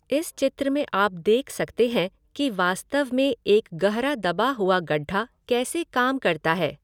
इस चित्र में आप देख सकते हैं कि वास्तव में एक गहरा दबा हुआ गड्ढा कैसे काम करता है।